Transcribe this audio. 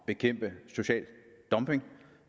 bekæmpe social dumping